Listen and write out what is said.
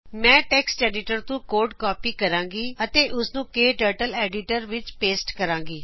ਮੈਂ text editor ਤੋ code copy ਕਰਾਂਗੀ ਅਤੇ ਉਸ ਨੂੰ ਕਟਰਟਲ ਐਡੀਟਰ ਵਿਚ ਪੇਸਟ ਕਰਾਗੀ